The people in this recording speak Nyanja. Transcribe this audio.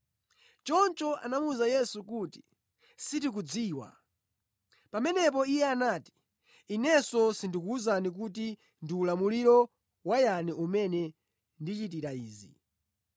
Choncho anamuwuza Yesu kuti, “Sitikudziwa.” Pamenepo Iye anati, “Inenso sindikuwuzani kuti ndi ulamuliro wa yani umene ndichitira izi.”